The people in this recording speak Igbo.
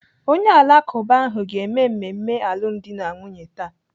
Onye Alakụba ahụ ga-eme mmemme alụmdi na nwunye taa.